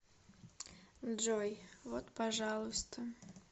джой вот пожалуйста